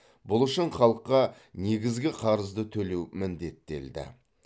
бұл үшін халыққа негізгі қарызды төлеу міндеттелді